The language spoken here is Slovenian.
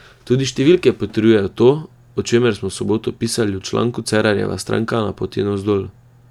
Tudi številke potrjujejo to, o čemer smo v soboto pisali v članku Cerarjeva stranka na poti navzdol.